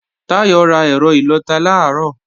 Táyọ̀ ra ẹ̀rọ ìlọta làárọ̀